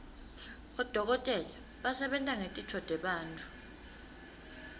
bodokotela basebenta ngetitfo tebantfu